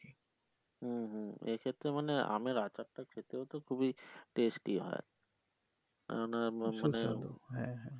হু হু এক্ষেত্রে মানে আমের আচার টা খেতেও তো খুবই taste হয় কেননা মানে।